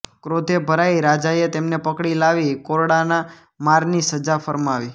ક્રોધે ભરાઈ રાજાએ તેમને પકડી લાવી કોરડાના મારની સજા ફરમાવી